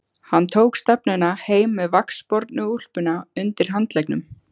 Hann tók stefnuna heim með vaxbornu úlpuna undir handleggnum.